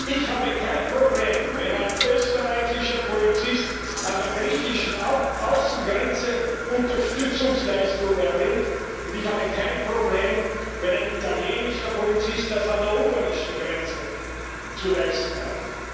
Ich habe kein Problem, wenn ein österreichischer Polizist an der griechischen Außengrenze Unterstützungsleistung erbringt, und ich habe kein Problem, wenn ein italienischer Polizist das an der ungarischen Grenze zu leisten hat.